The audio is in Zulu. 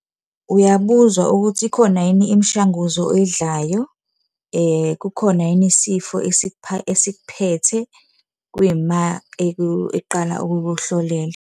Uyabuzwa ukuthi ikhona yini imishanguzo oyidlayo, kukhona yini isifo esikuphethe, kuyima eqala ukukuhlolela.